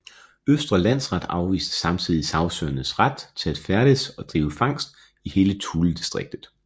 Østre Landsret afviste samtidig sagsøgernes ret til at færdes og drive fangst i hele Thuledistriktet